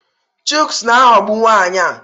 Chuks na-aghọgbu nwunye ya.